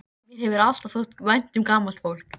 Mér hefur alltaf þótt vænt um gamalt fólk.